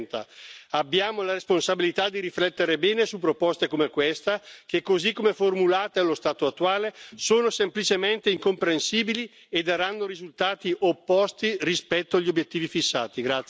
2030. Abbiamo la responsabilità di riflettere bene su proposte come questa che, così come formulate allo stato attuale sono semplicemente incomprensibili e daranno risultati opposti rispetto agli obiettivi fissati.